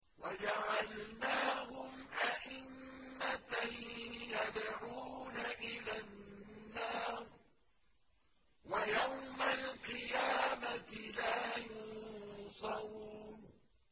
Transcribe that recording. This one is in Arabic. وَجَعَلْنَاهُمْ أَئِمَّةً يَدْعُونَ إِلَى النَّارِ ۖ وَيَوْمَ الْقِيَامَةِ لَا يُنصَرُونَ